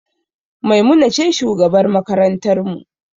Maimuna ce shugabar makarantar mu